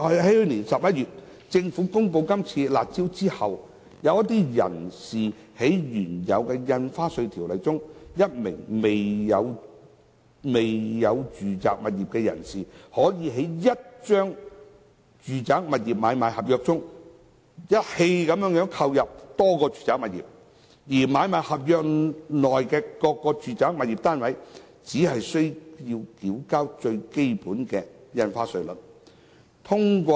去年11月，政府公布"辣招"後，根據現行《條例》，一名未曾擁有住宅物業的人士在1張住宅物業買賣合約下，一次性購入多個住宅物業，而他就買賣合約內各個住宅物業單位，只須按最基本的印花稅率繳交印花稅。